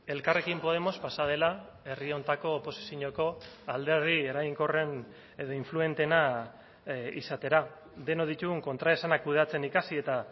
elkarrekin podemos pasa dela herri honetako oposizioko alderdi eraginkorren edo influenteena izatera denok ditugun kontraesana kudeatzen ikasi eta